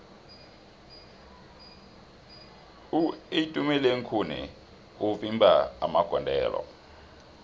uitumelengkhune mvimbi magondelo